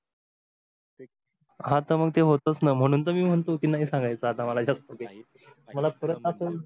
हा त मग तेच होतोच णा मणून तर मी म्हणतो की नाही सांगायच, काही तरी आता मला याचात मला परत याचात अजून